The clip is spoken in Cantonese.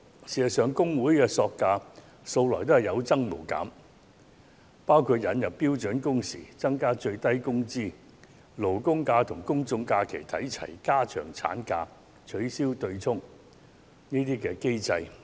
事實上，工會的索價素來有增無減，包括引入標準工時、增加最低工資、將勞工假與公眾假期看齊、增長產假、取消強制性公積金對沖機制等。